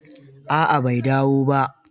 A'a bai dawo ba.